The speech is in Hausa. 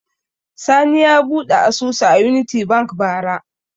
Sani ya buɗe asusu a Unity Bank bara.